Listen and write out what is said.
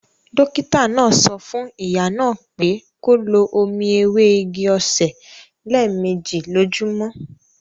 Dókítà náà sọ fún ìyá náà pé kó lo omi ewé igi-osè lé méjì lójúmọ́